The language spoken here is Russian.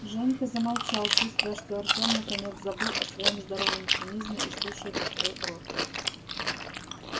женька замолчал чувствуя что артём наконец забыл о своём здоровом цинизме и слушает открыв рот